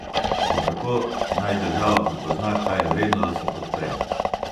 In kako naj država prepozna, kaj je vredno, da se podpre?